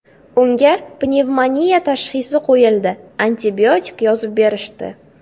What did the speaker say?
Unga pnevmoniya tashxisi qo‘yildi, antibiotik yozib berishdi.